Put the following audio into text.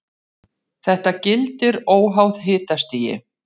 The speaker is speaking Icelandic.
Þetta gildir óháð hitastigi.